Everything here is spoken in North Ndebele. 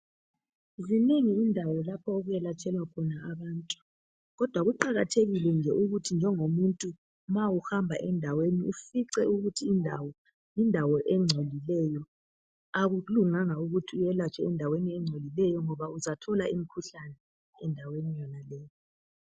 Zinengi indawo lapho okwelatshelwa khona abantu kodwa kuqakathekile ukuthi nje njengomuntu ma uhamba endaweni ufice ukuthi indawo yindawo engcolileyo akululanganga ukuthi welatshwe endaweni engcolileyo ngoba uzathola imkhuhlane endaweni engcolileyo